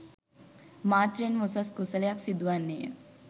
මාත්‍රයෙන්ම උසස් කුසලයක් සිදුවන්නේය.